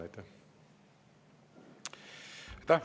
Aitäh!